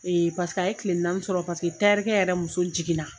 Ee paseke a ye tile naani sɔrɔ paseke tayɛrikɛ yɛrɛ muso jigin na.